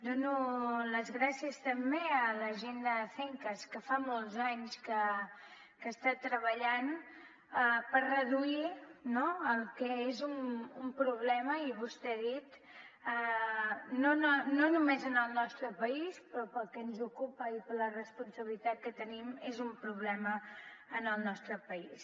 dono les gràcies també a la gent d’acencas que fa molts anys que està treballant per reduir el que és un problema i vostè ho ha dit no només en el nostre país però pel que ens ocupa i per la responsabilitat que tenim és un problema en el nostre país